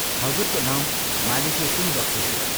हजुरको नाउँ मालिकले सुनिबक्सेथ्यो।